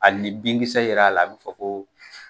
Hqli ni binkisɛ yer'a la, a bɛ fɔ ko